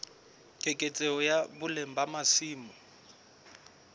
keketseho ya boleng ba masimo